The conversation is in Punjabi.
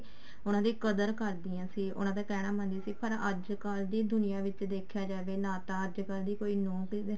ਉਹਨਾ ਦੀ ਕਦਰ ਕਰਦੀਆਂ ਸੀ ਉਹਨਾ ਦਾ ਕਹਿਣਾ ਮੰਨ ਦੀ ਸੀ ਪਰ ਅੱਜਕਲ ਦੀ ਦੁਨੀਆ ਵਿੱਚ ਦੇਖਿਆ ਜਾਵੇ ਨਾ ਤਾਂ ਅੱਜਕਲ ਦੀ ਕੋਈ ਨੂੰਹ